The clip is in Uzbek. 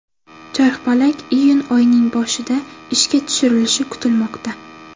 Charxpalak iyun oyining boshida ishga tushirilishi kutilmoqda.